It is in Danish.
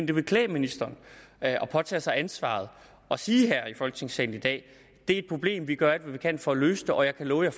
det ville klæde ministeren at påtage sig ansvaret og sige her i folketingssalen i dag det er et problem vi gør alt hvad vi kan for at løse det og jeg kan love